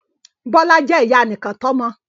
Bọ́lá jẹ́ ìyá anìkàntọ́mọ